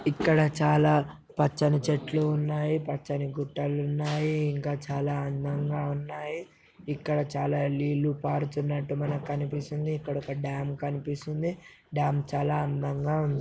ఇక్కడ చాలా పచ్చని చెట్లు ఉన్నాయి. పచ్చని గుట్టలు ఉన్నాయి. ఇంకా చాలా అందంగా ఉన్నాయి. ఇక్కడ చాలా నీళ్లు పారుతున్నట్టు మనకు కనిపిస్తుంది. ఇక్కడ ఒక డాం కనిపిస్తుంది. డాం చాలా అందంగా ఉంది.